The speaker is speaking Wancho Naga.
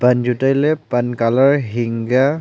an chu tailey pan colour hing ga.